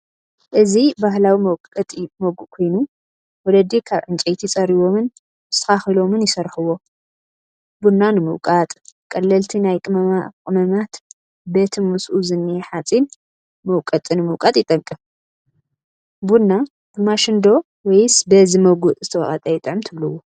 እዚ ባህላዊ መውቀጢ መጉእ ኮይኑ ወለዲ ካብ ዕንጨይቲ ፀሪቦምን ኣስተኻኺሎምን ይሰርሕዎ፡፡ ቡና ንምውቃጥ ፣ቀለልቲ ናይ ቅመማቅመማት በቲ ምስኡ ዝኒሀ ሓፂን መውቀጢ ንምውቃጥ ይጠቅም፡፡ ቡና ብማሽን ዶ ወይስ በዚ መጉእ ዝተወቐጠ ይጥዕም ትብልዎ?